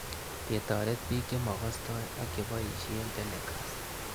Ketaret pik chemakastoi ak che poishe telecast